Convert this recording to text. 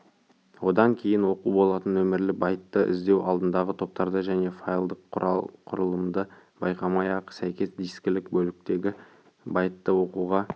одан кейін оқу болатын нөмірлі байтты іздеу алдыңғы топтарды және файлдық құрылымды байқамай-ақ сәйкес дискілік бөліктегі байтты оқуға